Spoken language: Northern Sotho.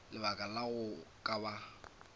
lebaka la go ka ba